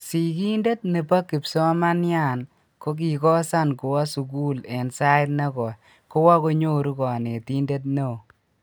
sikintet nebo kipsomanian kokikosan kuwo sukul en sait nekoi kowo kunyoru konetinte neoo